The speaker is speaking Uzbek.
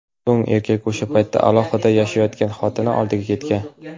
So‘ng erkak o‘sha paytda alohida yashayotgan xotini oldiga ketgan.